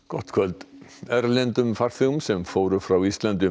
gott kvöld erlendum farþegum sem fóru frá Íslandi